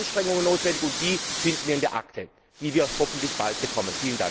Dafür sind Anstrengungen notwendig, und die finden wir in der Akte, die wir hoffentlich bald bekommen.